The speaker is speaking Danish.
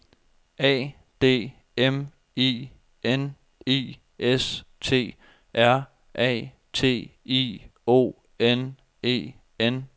A D M I N I S T R A T I O N E N